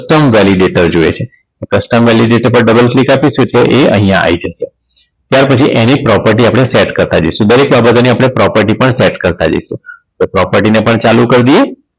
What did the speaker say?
custom validater જોઈએ છે custom validater પર double click આપી છે એ અહીંયા આવી જશે ત્યાર પછી એની property આપણે set કરતાં જઈશુ દરેક બાબતો ને આપણે property પણ set કરતા જઈશું તો property ને પણ ચાલુ કરી દઈએ